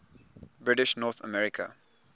british north america